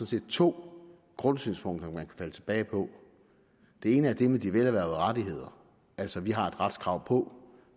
set to grundsynspunkter man falde tilbage på det ene er det med de velerhvervede rettigheder altså at vi har et retskrav på